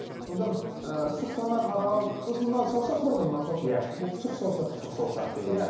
содан ы сұқтана қарау сосын мынау саусақ бар ғой мынау саусақ иә бұл сұқ саусақ сұқ саусақ дейді иә